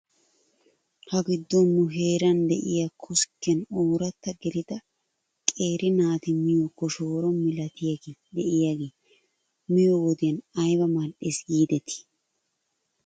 Ha giddon nu heeran de'iyaa koskkiyan ooratta gelida qeeri naati miyoo koshoro milatiyaagee de'iyaagee miyoo wodiyan ayba mal'es giidetii ?